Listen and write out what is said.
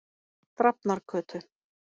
Drafnargötu